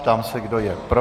Ptám se, kdo je pro.